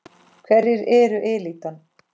Hverjir eru elítan?